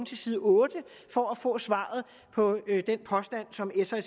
til side otte for at få svaret på den påstand som s og